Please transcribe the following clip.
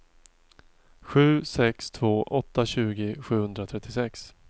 sju sex två åtta tjugo sjuhundratrettiosex